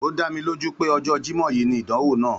Ó dá mi lójú pé ojó Jímó yìí ni ìdánwò náà